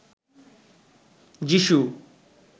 যীশু